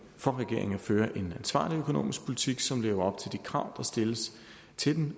for regeringen at føre en ansvarlig økonomisk politik som lever op til de krav der stilles til